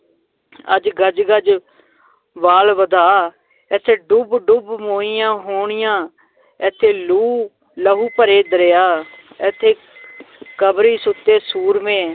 ਅੱਜ ਗਜ਼ ਗਜ਼ ਵਾਲ ਵਧਾ, ਏਥੇ ਡੁਬ ਡੁਬ ਮੋਈਆਂ ਹੋਣੀਆਂ ਏਥੇ ਲੂਹ ਲਹੂ ਭਰੇ ਦਰਿਆ ਏਥੇ ਕਬਰੀਂ ਸੁੱਤੇ ਸੂਰਮੇ